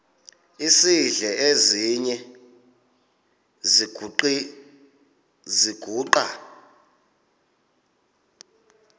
esidl eziny iziguqa